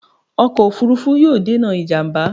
Ọkọ̀ òfuurufú yóò dènà ìjàmbá